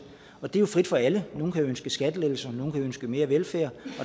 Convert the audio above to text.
og det er jo frit for alle nogle kan ønske skattelettelser nogle kan ønske mere velfærd